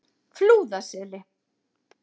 Flúðaseli